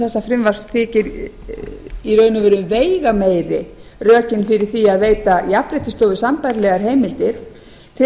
þessa frumvarps þykir í raun og veru veigameiri rökin fyrir því að veita jafnréttissjóði sambærilegar heimildir til að það